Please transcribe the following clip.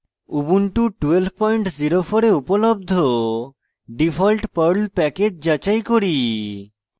ubuntu 1204 এ উপলব্ধ default perl package যাচাই করি